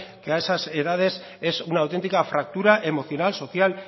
que a esas edades es una auténtica fractura emocional social